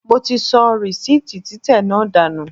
Mo ti sọ rìsíìtì títẹ̀ náà dànù.